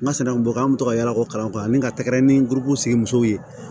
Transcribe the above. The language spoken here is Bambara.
N ka sanu bɔ an bɛ to ka yala ko kalan kɔ a ni ka tɛgɛrɛ ni guweriw sigi musow ye